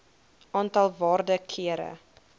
aantal waarde kere